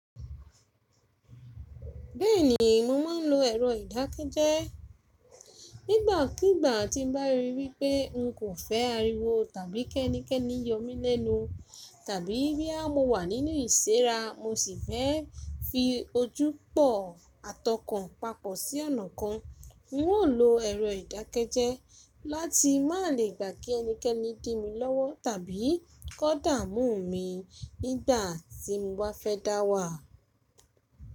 Bẹ́ẹ̀ni mo ma ń lo ẹ̀rọ ìdákẹ́jẹ́. Nígbàkígbà tí n bá ríi wípé n kò fẹ́ ariwo tàbí kí ẹnikẹ́ni yọ mí lẹ́nu, tàbí bí a mo wà nínú ìṣẹ́ra mo sì fẹ́ fi ojú pò at ọkàn papọ̀ sí ọ̀nà kan, mi ò lo ẹ̀rọ ìdákẹ́jẹ́ láti má lè gbà kí ẹnikẹ́ni dìmi lọ́wọ́ tàbí kó dààmú mi nígbà tí mo bá fẹ́ dáwà.